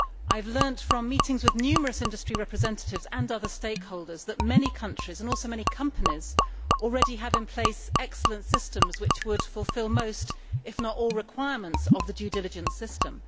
I have learnt from meetings with numerous industry representatives and other stakeholders that many countries, and also many companies, already have in place excellent systems which would fulfil most, if not all, requirements of the due diligence system.